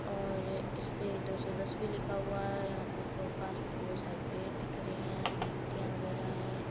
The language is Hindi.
और इसे दो सौ दस भी लिखा हुआ है यहाँ पे बहुत सारे पेड़ दिख रहे है मिट्टीया वगैरा है।